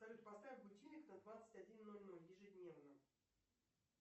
салют поставь будильник на двадцать один ноль ноль ежедневно